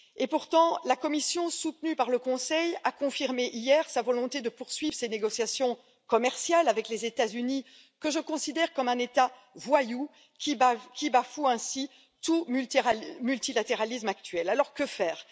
Pourtant, la Commission, soutenue par le Conseil, a confirmé hier sa volonté de poursuivre ses négociations commerciales avec les États Unis, que je considère comme un État voyou qui bafoue ainsi tout multilatéralisme actuel. Alors que faire?